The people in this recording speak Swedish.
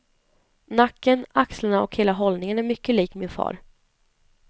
Nacken, axlarna och hela hållningen är mycket lik min far.